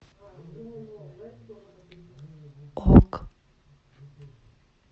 ок